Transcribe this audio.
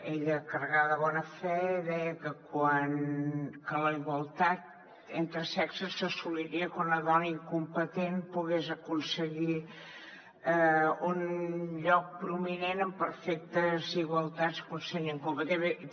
ella carregada de bona fe deia que la igualtat entre sexes s’assoliria quan una dona incompetent pogués aconseguir un lloc prominent en perfectes igualtats que un senyor incompetent